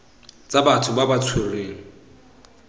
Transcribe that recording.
tsa batho ba ba tshwerweng